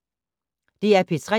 DR P3